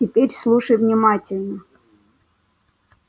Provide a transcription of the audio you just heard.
теперь слушай внимательно